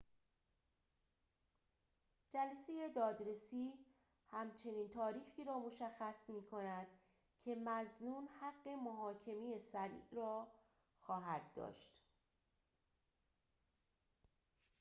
جلسه دادرسی همچنین تاریخی را مشخص می‌کند که مظنون حق محاکمه سریع را خواهد داشت